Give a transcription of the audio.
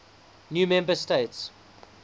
new member states